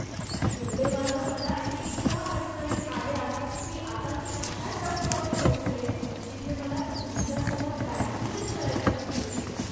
दुर्दैवानं मला इतक्या अडचणी आल्यात की आता मी अशा टप्प्यावर पोचलेय जिथं मला तुमच्यासोबत बँकिंगच करायचं नाहीये.